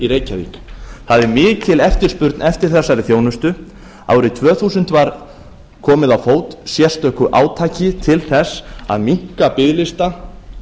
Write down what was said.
það er mikil eftirspurn eftir þessari þjónustu árið tvö þúsund var komið á fót sérstöku átaki til þess að minnka biðlista